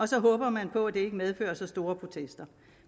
så håber man på at det ikke medfører så store protester